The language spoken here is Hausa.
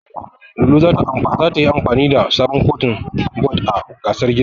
Lulu zata yi amfani da sabon Kotun bod a gasar girkin.